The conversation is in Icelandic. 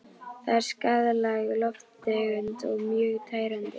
Það er skaðleg lofttegund og mjög tærandi.